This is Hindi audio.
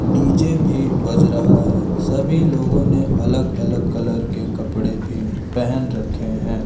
डी_जे भी बज रहा है सभी लोगों ने अलग अलग कलर के कपड़े भी पहन रखे हैं।